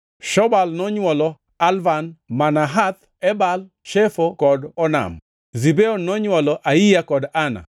Shobal nonywolo Alvan, + 1:40 Nying machielo mar Alvan en Alian. Manahath, Ebal, Shefo kod Onam. Zibeon nonywolo Aiya kod Ana.